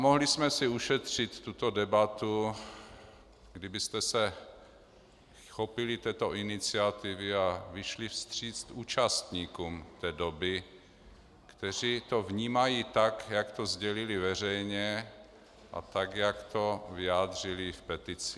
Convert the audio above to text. Mohli jsme si ušetřit tuto debatu, kdybyste se chopili této iniciativy a vyšli vstříc účastníkům té doby, kteří to vnímají tak, jak to sdělili veřejně, a tak, jak to vyjádřili v petici.